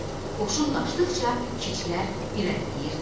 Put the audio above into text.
Qoşun qaçdıqca keçilər irəliləyirdi.